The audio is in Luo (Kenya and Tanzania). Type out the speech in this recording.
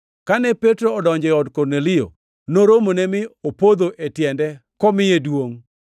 Kane Petro odonjo e ot, Kornelio noromone mi opodho e tiende kamiye duongʼ.